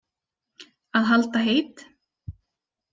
Að halda heit